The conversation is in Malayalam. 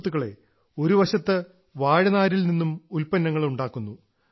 സുഹൃത്തുക്കളെ ഒരുവശത്ത് വാഴനാരിൽ നിന്നും ഉൽപ്പന്നങ്ങൾ ഉണ്ടാക്കുന്നു